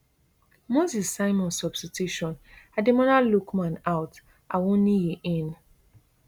moses simon substitution ademola lookman out awoniyi in